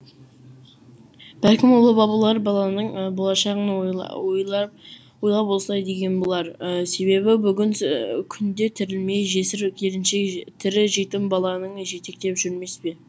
бәлкім ұлы бабалар баланың болашағын ой ойла ойлап осылай деген болар себебі бүгін күнде тірілмей жесір келіншек тірі жетім баланың жетектеп жүрмес пе